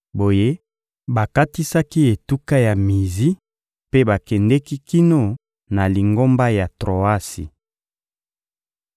Boye bakatisaki etuka ya Mizi mpe bakendeki kino na libongo ya Troasi.